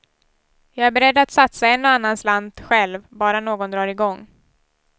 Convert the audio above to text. Jag är beredd att satsa en och annan slant själv, bara någon drar igång.